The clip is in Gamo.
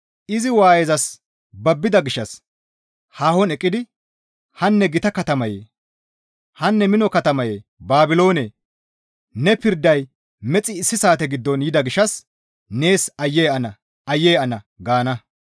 Izi waayezas babbida gishshas haahon eqqidi, «Hanne gita katamayee! Hanne mino katamaye Baabiloonee! Ne pirday mexi issi saate giddon yida gishshas nees Aayye ana! Aayye ana!» gaana.